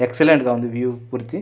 excellent గ ఉంది view పూర్తి --